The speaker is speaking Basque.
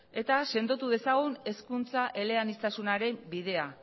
eta sendotu dezagun hezkuntza eleaniztasunaren bidea